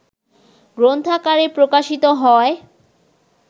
গ্রন্থাকারে প্রকাশিত হয়